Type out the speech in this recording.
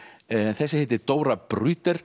þessi heitir Dóra